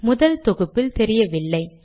முதல் தொகுப்பில் தெரியவில்லை